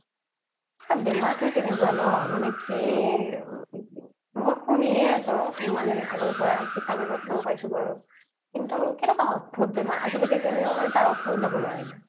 পিছে বেমাৰ তোয়ে তেনেকুৱা ন মানে কি মই শুনিহে আছো ইমান দিন আগৰ পৰা কিতাপয়ে প্ৰত্ৰ পাইছো কিন্তু কেনেকুৱা আতভুত বেমাৰ আজিলৌকেও কোনেও তাৰ মানে ঔশদ উলাব নোৱাৰিলে